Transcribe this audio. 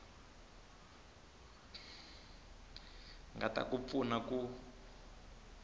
nga ta ku pfuna ku